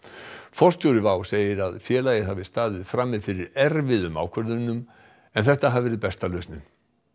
forstjóri WOW segir að félagið hafi staðið frammi fyrir erfiðum ákvörðunum en þetta hafi verið besta lausnin